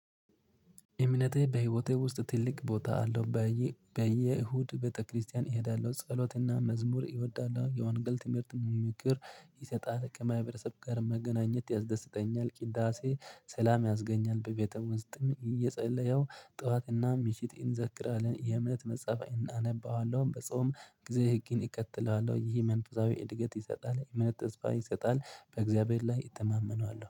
እምነቴ በህይወቴ ውስጥ ትልቅ ቦታ አለው። በየ እሁድ ቤተክርስቲያን እሄዳለሁ ጸሎትና መዝሙር እወዳለሁ የወንገል ትምህርት የሚመክር ይሰጣል ከማህበረሰብ ጋር መገናኘት ያስደስተኛል። ቅዳሴ ሰላም ያስገኛል። በቤተ ውስጥም እየጸለየው ጠዋትና ሚሽት እንዘክራለን የእምነት መጽሐፍ እናነባዋለሁ። በጾም ጊዜ ህግን እቀጥላለሁ ይሄ መንፈሳዊ እድገት ይሰጣል። የእምነት ተጽፋ ይጸጣል በእግዚአብሔር ላይ እተማመናለሁ